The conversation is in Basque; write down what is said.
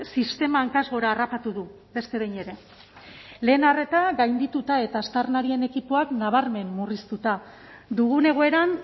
sistema hankaz gora harrapatu du beste behin ere lehen arreta gaindituta eta aztarnarien ekipoak nabarmen murriztuta dugun egoeran